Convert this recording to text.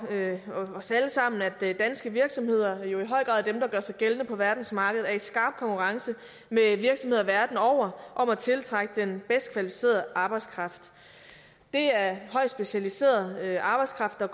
os alle sammen at danske virksomheder og jo i høj grad dem der gør sig gældende på verdensmarkedet er i skarp konkurrence med virksomheder verden over om at tiltrække den bedst kvalificerede arbejdskraft det er højt specialiseret arbejdskraft der